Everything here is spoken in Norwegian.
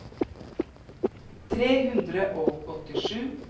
tre hundre og åttisju